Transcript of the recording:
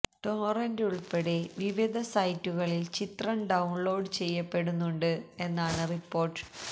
torrent ഉൾപ്പെടെ വിവിധ സൈറ്റുകളിൽ ചിത്രം ഡൌൺലോഡ് ചെയ്യപ്പെടുന്നുണ്ട് എന്നാണ് റിപ്പോർട്ട്